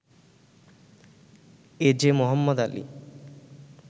A J Mohammad Ali